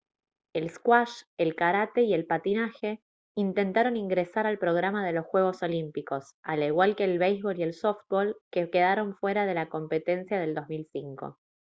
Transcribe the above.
el squash el karate y el patinaje intentaron ingresar al programa de los juegos olímpicos al igual que el béisbol y el softbol que quedaron fuera en la competencia del 2005